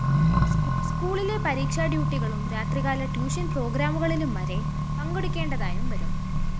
സ്‌കൂളിലെ പരീക്ഷാഡ്യൂട്ടികളും രാത്രികാല ട്യൂഷൻ പ്രോഗ്രാമുകളിലും വരെ പങ്കെടുക്കേണ്ടതായും വരും